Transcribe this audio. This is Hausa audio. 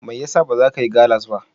Mai yasa bazakayi gallas ba?